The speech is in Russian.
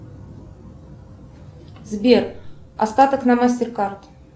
сбер остаток на мастеркард